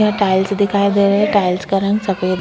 यहाँ टाइल्स दिखाई दे रहा है टाइल्स का रंग सफ़ेद है।